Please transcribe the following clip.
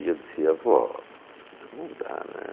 E eu dizia, vó, não dá, né?